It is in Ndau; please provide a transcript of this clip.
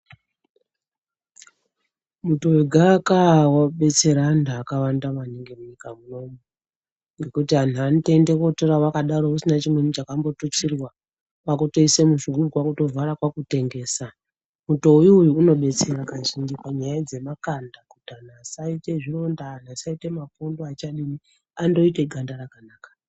Muto wegaka wabetsera antu vakawanda maningi munyika munomu ngokuti antu anotoende onotora wakadaro usina chimweni chakambo tutsirwa, kwakutoise muzvigubhu kwakutovhara kwakutengesa, muto uyu unobetsera kazhinji panyaya dzemakanda kuti anhu asaite zvironda asaite mapundu achadini andoite ganda rakanaka.